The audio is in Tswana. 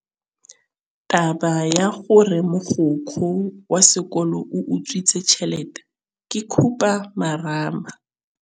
Taba ya gore mogokgo wa sekolo o utswitse tšhelete ke khupamarama.